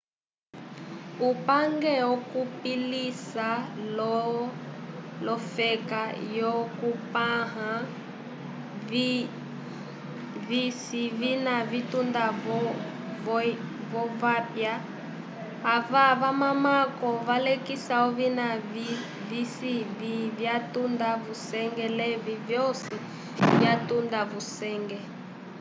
upange ukupilisa lo lofeka yyokupanla vici vina vitunda vo vapya ava vamako valekisa ovina visi vyatunda vusenge levi vyosi vyatamba vusenge